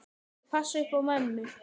Ég passa upp á mömmu.